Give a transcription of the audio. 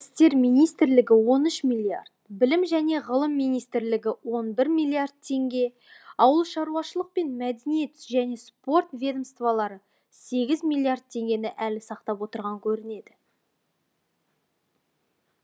ішкі істер он үш миллиард білім және ғылым министрлігі он бір миллиард теңге ауылшаруашылық пен мәдениет және спорт ведомстволары сегіз миллиард теңгені әлі сақтап отырған көрінеді